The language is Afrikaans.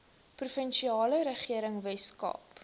provinsiale regering weskaap